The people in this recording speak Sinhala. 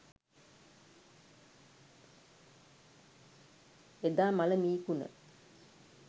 එදා මළ මී කුණ